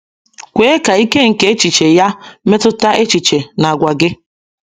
Kwee ka ike nke echiche ya metụta echiche na àgwà gị.